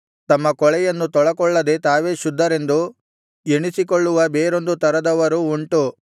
ತಮ್ಮ ಕೊಳೆಯನ್ನು ತೊಳಕೊಳ್ಳದೆ ತಾವೇ ಶುದ್ಧರೆಂದು ಎಣಿಸಿಕೊಳ್ಳುವ ಬೇರೊಂದು ತರದವರು ಉಂಟು